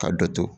Ka dɔ to